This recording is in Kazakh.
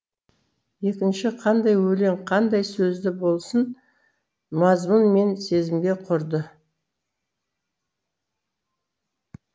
екінші қандай өлең қандай сөзді болсын мазмұн мен сезімге құрды